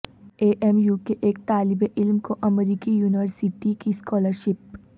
اے M U کے ایک طالب علم کو امریکی یونیورسٹی کی اسکالرشپ